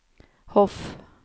Hof